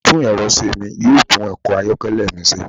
atún erọ̀ se mí, yoo tun ọkọ ayọkẹlẹ mi ṣe.